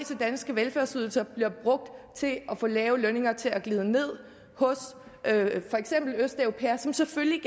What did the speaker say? danske velfærdsydelser bliver brugt til at få lave lønninger til at glide ned hos for eksempel østeuropæere som selvfølgelig